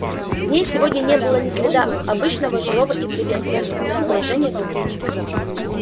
в ней сегодня не было ни следа обычного живого и приветливого расположения духа